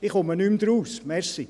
Ich verstehe es nicht mehr.